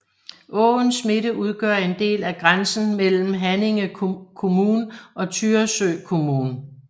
Åens midte udgør en del af grænsen mellem Haninge kommun og Tyresö kommun